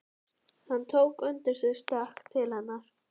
Hann tók undir sig stökk til hennar.